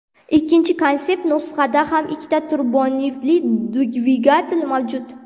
Ikkinchi konsept nusxada ham ikkita turbovintli dvigatel mavjud.